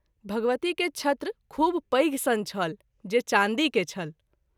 भगवती के छत्र खूब पैघ सन छल जे चाँदी के छल।